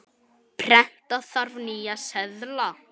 Prenta þarf nýja seðla.